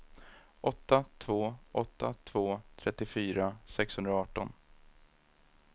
åtta två åtta två trettiofyra sexhundraarton